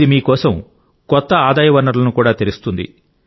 ఇది మీ కోసం కొత్త ఆదాయ వనరులను కూడా తెరుస్తుంది